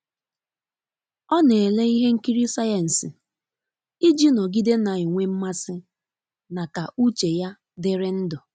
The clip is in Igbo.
Ọ na ele ihe nkiri sayensi iji nogide na enwe mmasi na ka uche ya diri ndu.